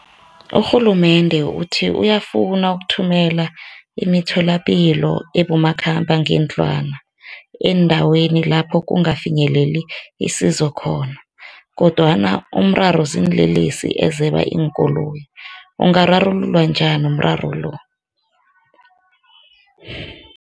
Urhulumende uthi uyafuna ukuthumela imitholampilo ebomakhambangendlwana eendaweni lapho kungafinyeleli isizo khona, kodwana, umraro ziinlelesi ezeba iinkoloyi, ungararuluwa njani umraro lo?